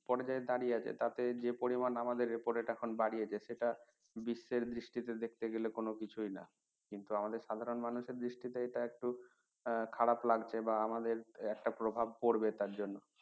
পর্যায়ে দাঁড়িয়ে আছে তাতে যে পরিমান আমাদের repo rate এখন বাড়িয়েছে সেটা বিশ্বের গেলে কোনো কিছুই না কিন্তু আমাদের সাধারণ মানুষের দৃষ্টিতে এটা একটু খারাপ লাগছে বা আমাদের একত্র প্রভাব পড়বে তার জন্য